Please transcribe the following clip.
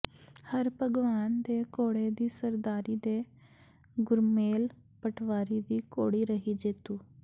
ਹਰਭਗਵਾਨ ਦੇ ਘੋੜੇ ਦੀ ਸਰਦਾਰੀ ਤੇ ਗੁਰਮੇਲ ਪਟਵਾਰੀ ਦੀ ਘੋੜੀ ਰਹੀ ਜੇਤੂ